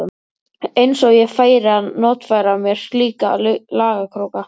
Eins og ég færi að notfæra mér slíka lagakróka.